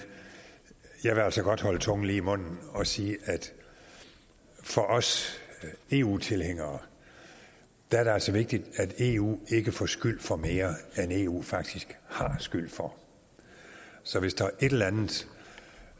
jeg vil altså godt holde tungen lige i munden og sige at for os eu tilhængere er det altså vigtigt at eu ikke får skyld for mere end eu faktisk har skyld for så hvis der er et eller andet